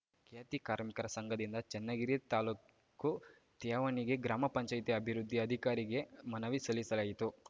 ಖ್ಯಾತಿ ಕಾರ್ಮಿಕರ ಸಂಘದಿಂದ ಚನ್ನಗಿರಿ ತಾಲೂಕು ತ್ಯಾವಣಿಗೆ ಗ್ರಾಮ ಪಂಚಾಯತಿ ಅಭಿವೃದ್ಧಿ ಅಧಿಕಾರಿಗೆ ಮನವಿ ಸಲ್ಲಿಸಲಾಯಿತು